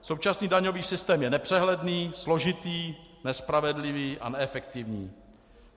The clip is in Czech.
Současný daňový systém je nepřehledný, složitý, nespravedlivý a neefektivní.